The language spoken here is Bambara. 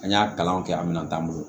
An y'a kalan kɛ an minan t'an bolo